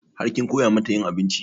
Har kin koya mata yin abinci?